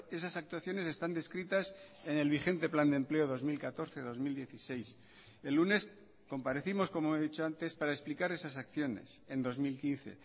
esas actuaciones están descritas en el vigente plan de empleo dos mil catorce dos mil dieciséis el lunes comparecimos como he dicho antes para explicar esas acciones en dos mil quince